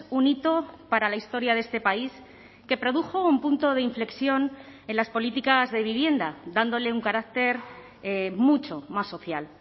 un hito para la historia de este país que produjo un punto de inflexión en las políticas de vivienda dándole un carácter mucho más social